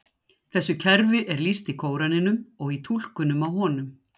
Þessu kerfi er lýst í Kóraninum og í túlkunum á honum.